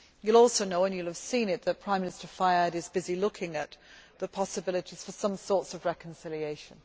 You will also know and you will have seen it that Prime Minister Fayyad is busy looking at the possibilities for some sort of reconciliation.